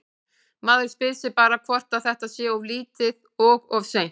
Maður spyr sig bara hvort að þetta sé of lítið og of seint?